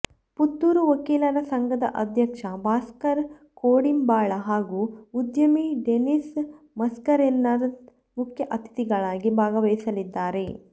ಪುತ್ತೂರು ವಕೀಲರ ಸಂಘದ ಅಧ್ಯಕ್ಷ ಭಾಸ್ಕರ ಕೋಡಿಂಬಾಳ ಹಾಗೂ ಉದ್ಯಮಿ ಡೆನ್ನೀಸ್ ಮಸ್ಕರೇನಸ್ ಮುಖ್ಯ ಅತಿಥಿಗಳಾಗಿ ಭಾಗವಹಿಸಲಿದ್ದಾರೆ